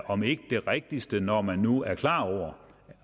om ikke det rigtigste når man nu er klar over